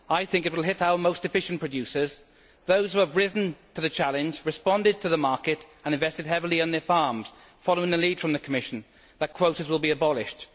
I think it will hit our most efficient producers those who have risen to the challenge, responded to the market and invested heavily in their farms, following a lead from the Commission that quotas will be abolished.